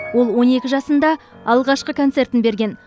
ол он екі жасында алғашқы концертін берген